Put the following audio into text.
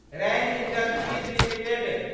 rain Industries limited